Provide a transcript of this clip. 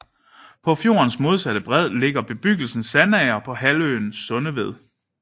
På fjordens modsatte bred ligger bebyggelsen Sandager på halvøen Sundeved